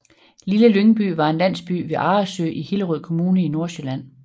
Lille Lyngby er en landsby ved Arresø i Hillerød Kommune i Nordsjælland